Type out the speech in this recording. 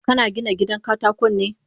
Kana Gina gidan katakon ne?